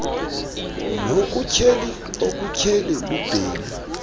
nokutyheli okutyheli lubhelu